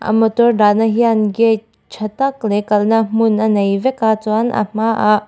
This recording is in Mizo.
an motor dahna hian gate ṭha tak leh kalna hmun a nei vek a chuan a hmaah --